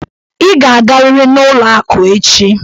Ị ga-agarịrị n'ụlọ akụ echi!